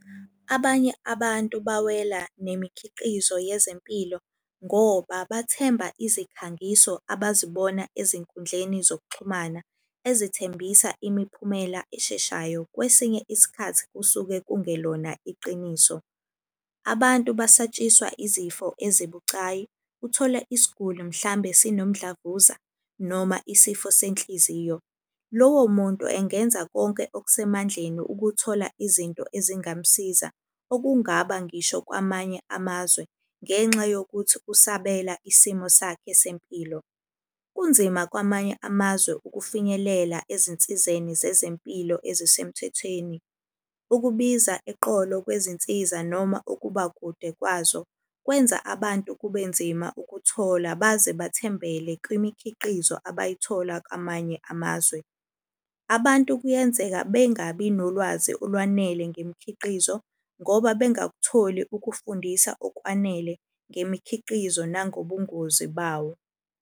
Abanye abantu bawela nemikhiqizo yezempilo ngoba bathemba izikhangiso abazibona ezinkundleni zokuxhumana, ezithembisa imiphumela esheshayo. Kwesinye isikhathi kusuke kungelona iqiniso. Abantu basatshiswa izifo ezibucayi. Uthole isguli mhlambe sinomdlavuza noma isifo senhliziyo, lowo muntu engenza konke okusemandleni ukuthola izinto ezingamamsiza. Okungaba ngisho kwamanye amazwe, ngenxa yokuthi ukusabela isimo sakhe sempilo. Kunzima kwamanye amazwe ukufinyelela ezinsizeni zezempilo ezisemthethweni. Ukubiza eqolo kwezinsiza noma ukuba kude kwazo, kwenza abantu kube nzima ukuthola baze bathembele kwimikhiqizo abayithola kwamanye amazwe. Abantu kuyenzeka bengabi nolwazi olwanele ngemikhiqizo ngoba bengakutholi ukufundisa okwanele ngemikhiqizo nangobungozi bawo.